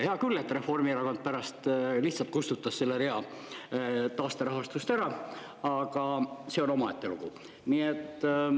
Hea küll, et Reformierakond pärast lihtsalt kustutas selle rea taasterahastust ära, aga see on omaette lugu.